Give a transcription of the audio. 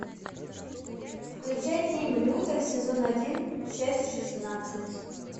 включай фильм лютер сезон один часть шестнадцать